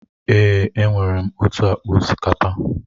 Èè, enwere m otu akpa osikapa.